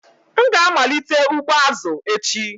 M ga-amalite ugbo azụ echi.